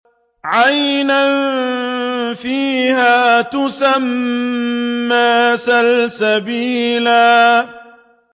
عَيْنًا فِيهَا تُسَمَّىٰ سَلْسَبِيلًا